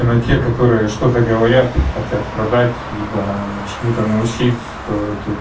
именно те которые что-то говорят хотят продать либо чему-то научились то тут